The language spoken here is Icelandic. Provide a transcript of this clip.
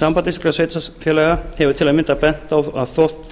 samband íslenskra sveitarfélaga hefur til að mynda bent á að þótt